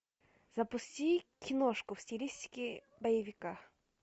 запусти киношку в стилистике боевика